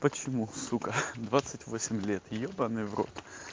почему сука двадцать восемь лет ёбанный в рот